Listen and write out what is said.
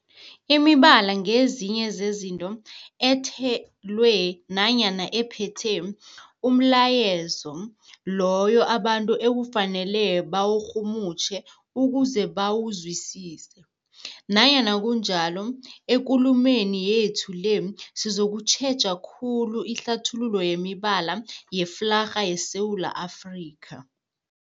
Imibala ngezinye zezinto ethelwe nanyana ephethe umlayezo loyo abantu ekufanele bawurhumutjhe ukuze bawuzwisise. Nanyana kunjalo, ekulumeni yethu le sizokutjheja khulu ihlathululo yemibala yeflarha yeSewula Afrika.